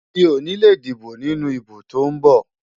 Mi ò ní lè dìbò nínú ìbò tó ń bọ̀.